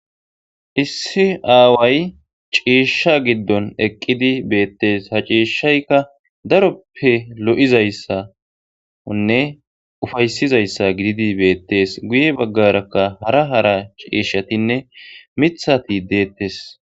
iIsi aaway ciishsha giddon eqqidi beettes ha ciishshaykka daroppe lo'izayssanne ufaysizayssa gididi beettees guye baggarakka hara hara ciishshatinne mithati deettes.